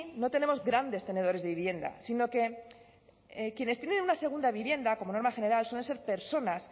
no tenemos grandes tenedores de vivienda sino que quienes tienen una segunda vivienda como norma general suelen ser personas